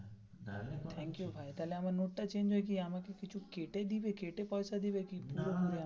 Thank you ভাই তাহলে আমার নোটটা change হচ্ছে আমাকে কিছু কেটে দেবে কেটে পয়সা দেবে কিন্তু.